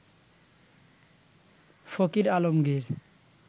Fakir Alamgir